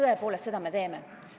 Tõepoolest, seda me teeme.